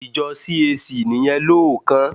Ìjọ CAC nìyẹn lóòókán.